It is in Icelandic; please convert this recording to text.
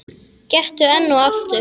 Gettu enn og aftur.